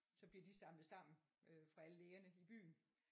Så bliver de samlet sammen øh fra alle lægerne i byen